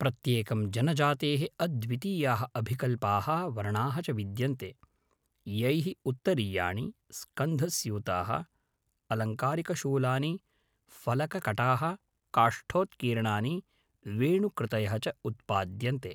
प्रत्येकं जनजातेः अद्वितीयाः अभिकल्पाः, वर्णाः च विद्यन्ते, यैः उत्तरीयाणि, स्कन्धस्यूताः, अलङ्कारिकशूलानि, फलककटाः, काष्ठोत्कीर्णानि, वेणुकृतयः च उत्पाद्यन्ते।